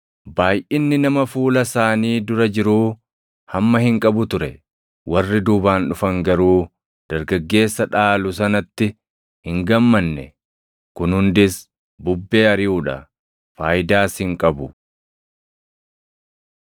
Baayʼinni nama fuula isaanii dura jiruu hamma hin qabu ture. Warri duubaan dhufan garuu dargaggeessa dhaalu sanatti hin gammanne. Kun hundis bubbee ariʼuu dha; faayidaas hin qabu.